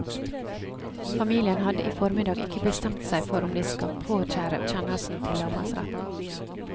Familien hadde i formiddag ikke bestemt seg for om de skal påkjære kjennelsen til lagmannsretten.